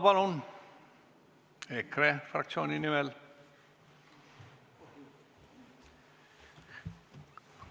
Paul Puustusmaa EKRE fraktsiooni nimel, palun!